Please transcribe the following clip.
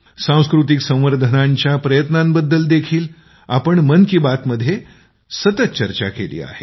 सांस्कृतिक संवर्धनाच्या प्रयत्नांनबद्दल देखील आम्ही मन की बात मध्ये सतत चर्चा केली आहे